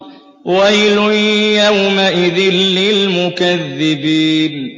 وَيْلٌ يَوْمَئِذٍ لِّلْمُكَذِّبِينَ